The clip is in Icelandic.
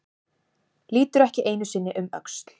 Lítur ekki einu sinni um öxl.